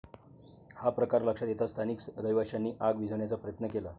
हा प्रकार लक्षात येताच स्थानिक रहिवाशांनी आग विझवण्याचा प्रयत्न केला.